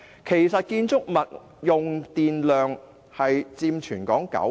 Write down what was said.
其實，建築物用電量佔全港九成。